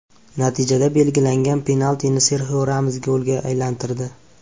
Natijada belgilangan penaltini Serxio Ramos golga aylantirdi.